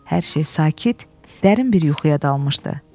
Hər şey sakit, dərin bir yuxuya dalmışdı.